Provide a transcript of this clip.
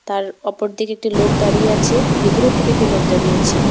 তার ওপর দিকে একটি লোক দাঁড়িয়ে আছে ভিতরের দিকে একটি লোক দাঁড়িয়ে আছে।